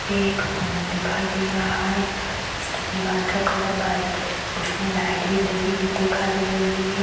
यहाँ पे एक रूम दिखाई दे रहा हैं इसके दीवार का कलर व्हाइट हैं उसमे लाइट भी लगी हुई दिखाई दे रही है।